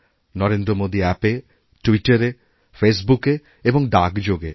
নরেন্দ্রমোদী অ্যাপে টুইটারেফেসবুকে এবং ডাকযোগে